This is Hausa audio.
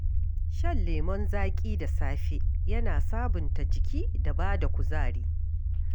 Shan lemun zaƙi da safe yana sabunta jiki da bada kuzari.